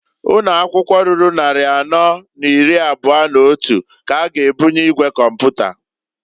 Ụnọakwụkwọ ruru nnarị anọ n'iri abụa n'otu k'a ga ebunye igwe kọmpụta.